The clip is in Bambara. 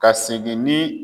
Ka segin ni